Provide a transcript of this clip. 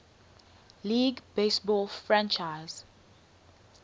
league baseball franchise